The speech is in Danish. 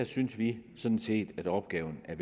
synes vi sådan set at opgaven er